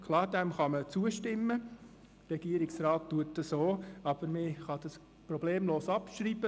Klar, diesem kann man zustimmen, der Regierungsrat tut es auch, aber man kann problemlos abschreiben.